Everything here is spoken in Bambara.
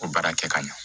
O baara kɛ ka ɲɛ